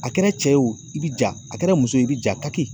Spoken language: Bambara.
A kɛra cɛ ye wo i bi ja a kɛra muso ye i bi ja taki